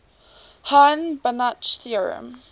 hahn banach theorem